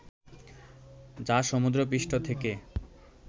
যা সমুদ্রপৃষ্ঠ থেকে